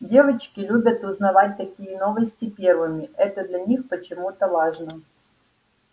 девочки любят узнавать такие новости первыми это для них почему-то важно